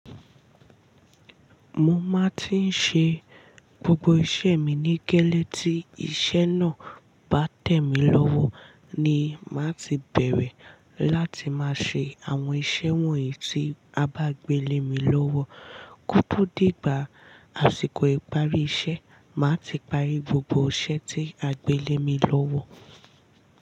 Mo máa ti ń ṣe gbogbo iṣẹ́ mi ní kẹ́lẹ́ tí iṣẹ́ náà bá tẹ̀ mí lọ́wọ́ ni máa ti bẹ̀rẹ̀ láti máa ṣe àwọn iṣẹ́ wọ̀nyí tí a bá gbélé mi lọ́wọ́. Kóto di ígbà àsìkò ìparí iṣẹ́, màá ti parí gbogbo iṣẹ́ tí a gbélé mi lọ́wọ́